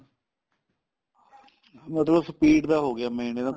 ਮਤਲਬ speed ਦਾ ਹੋ ਗਿਆ main ਇਹਨੂੰ